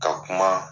Ka kuma